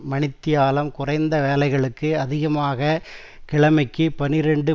மணித்தியாலம் குறைந்த வேலைகளுக்கு அதிகமாக கிழமைக்கு பனிரண்டு